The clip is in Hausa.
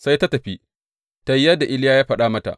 Sai ta tafi, ta yi yadda Iliya ya faɗa mata.